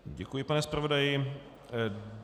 Děkuji, pane zpravodaji.